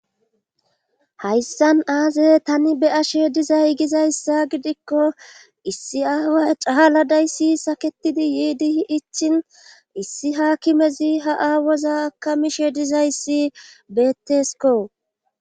hayssan aazey tani be'ashe dizay gizayssa gidikko issi aaway caaladayssi saketidi yiidihi ichin issi haakimezi ha aawoza akamishe dizayssi beettesko